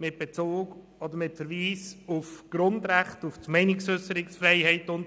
mit Verweis auf die Grundrechte und auf das Recht auf freie Meinungsäusserung ablehnen wolle.